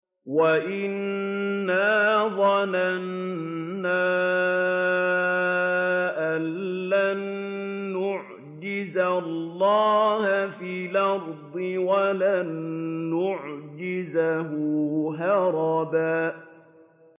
وَأَنَّا ظَنَنَّا أَن لَّن نُّعْجِزَ اللَّهَ فِي الْأَرْضِ وَلَن نُّعْجِزَهُ هَرَبًا